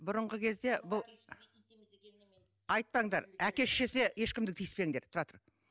бұрынғы кезде бұл айтпаңдар әке шешесі ешкімді тиіспеңдер тұра тұр